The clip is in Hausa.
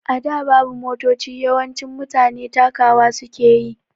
A da babu Motoci, yawancin mutane takawa suke yi